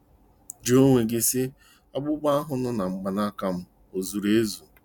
Jụọ onwe gị sị: 'Akpụkpọ ahụ nọ na mkpanaka m o zuru ezu?